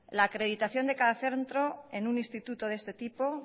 la acreditación de cada centro en un instituto de este tipo